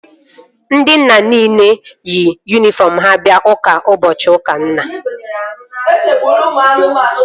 Ndị nna nile yi yunifọm ha bịa ụka ụbọchị ụka nna